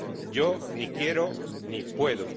Yo, ni quiero, ni puedo.